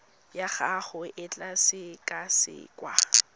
ya gago e tla sekasekwa